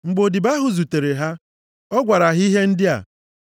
Mgbe odibo ahụ zutere ha, ọ gwara ha ihe ndị a.